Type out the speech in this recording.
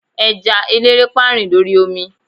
eja elerepa rin l'ori omi